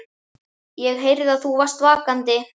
ÉG HEYRÐI AÐ ÞÚ VARST VAKANDI.